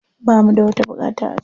Ba mu da wata buƙata a can.